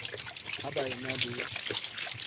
ha ba e na le